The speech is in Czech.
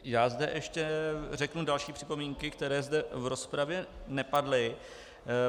Já zde ještě řeknu další připomínky, které zde v rozpravě nepadly.